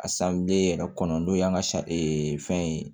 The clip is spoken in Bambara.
A yɛrɛ kɔnɔ n'o y'an ka fɛn ye